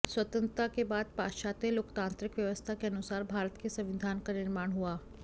स्वतंत्रता के बाद पाश्चात्य लोकतांत्रिक व्यवस्था के अनुसार भारत के संविधान का निर्माण हुआ